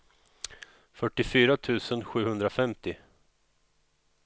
fyrtiofyra tusen sjuhundrafemtio